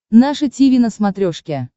наше тиви на смотрешке